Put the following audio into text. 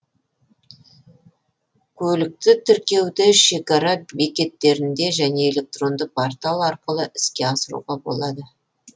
көлікті тіркеуді шекара бекеттерінде және электронды портал арқылы іске асыруға болады